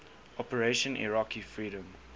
operation iraqi freedom